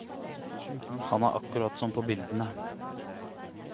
Han er akkurat som på bildene.